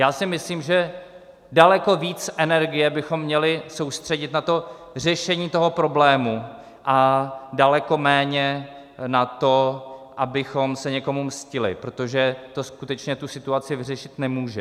Já si myslím, že daleko víc energie bychom měli soustředit na to řešení toho problému a daleko méně na to, abychom se někomu mstili, protože to skutečně tu situaci vyřešit nemůže.